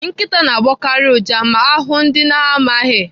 Nkịta na-agbọkarị ụja ma ha hụụ ndị ha na-amaghị.